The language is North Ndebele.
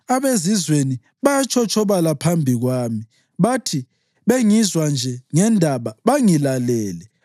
abezizweni bayatshotshobala phambi kwami; bathi bengizwa nje ngendaba, bangilalele.